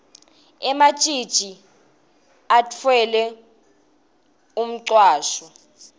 ematjitji atfwele umcwasho